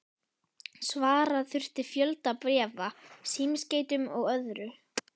Svara þurfti fjölda bréfa, símskeytum og öðru.